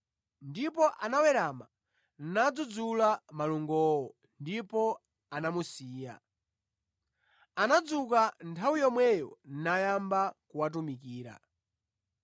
Ndipo anawerama nadzudzula malungowo ndipo anamusiya. Anadzuka nthawi yomweyo nayamba kuwatumikira.